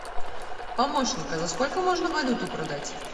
помощник а за сколько можно валюту продать